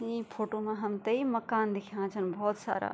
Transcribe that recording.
इं फोटो मा हमथे मकान दिखणा छन भोत सारा।